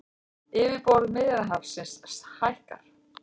Yfirborð Miðjarðarhafsins hækkar